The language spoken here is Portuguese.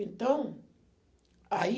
Então, aí...